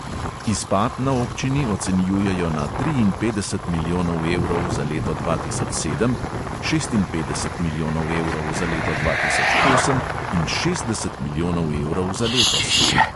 Izpad na občini ocenjujejo na triinpetdeset milijonov evrov za leto dva tisoč sedem, šestinpetdeset milijonov evrov za leto dva tisoč osem in šestdeset milijonov evrov za letos.